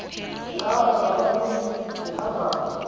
sihamba ngababini sibambana